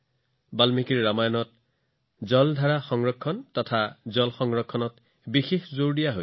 বাল্মীকি ৰামায়ণত পানীৰ উৎস সংযোগ পানী সংৰক্ষণৰ ওপৰত বিশেষ গুৰুত্ব আৰোপ কৰা হৈছে